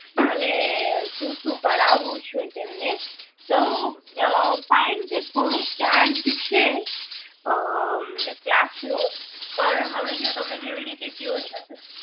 અને શું શું કરાવું છે તેમને તો અ fine કે થોડુંક charge છે હમ ક્લાસ નું પણ હવે જો તમે જેવી રીતે કયો છો કે